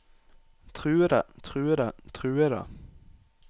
truede truede truede